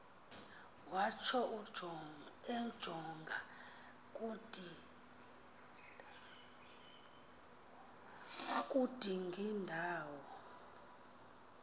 watsho ejonga kudingindawo